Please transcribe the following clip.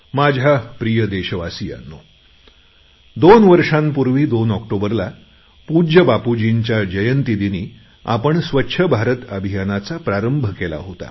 माझ्या प्रिय देशवासियांनो दोन वर्षांपूर्वी दोन ऑक्टोबरला पूज्य बापूजींच्या जयंतीदिनी आपण स्वच्छ भारत अभियानाचा प्रारंभ केला होता